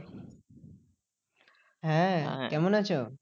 হ্যাঁ কেমন আছো?